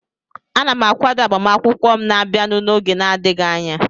Ana m akwado agbamakwụkwọ m na-abịanụ n'oge na-adịghị anya